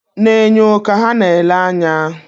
Na-enyo ka ha na-ele anya